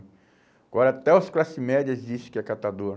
Agora até os classes médias dizem que é catador.